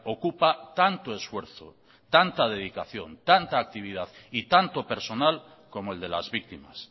ocupa tanto esfuerzo tanta dedicación tanta actividad y tanto personal como el de las víctimas